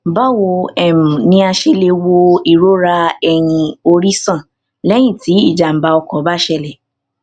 báwo um ni a ṣe lè wo irora eyin ori san lẹyìn tí ijàǹbá ọkọ bá ṣẹlẹ